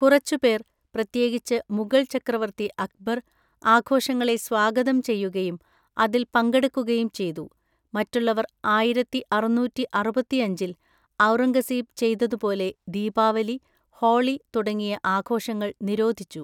കുറച്ചുപേർ, പ്രത്യേകിച്ച് മുഗൾ ചക്രവർത്തി അക്ബർ, ആഘോഷങ്ങളെ സ്വാഗതം ചെയ്യുകയും അതിൽ പങ്കെടുക്കുകയും ചെയ്തു, മറ്റുള്ളവർ ആയിരത്തിഅറുന്നൂറ്റിഅറുപത്തിഅഞ്ചിൽ ഔറംഗസേബ് ചെയ്തതുപോലെ ദീപാവലി, ഹോളി തുടങ്ങിയ ആഘോഷങ്ങൾ നിരോധിച്ചു.